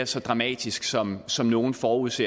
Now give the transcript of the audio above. så dramatisk som som nogle forudså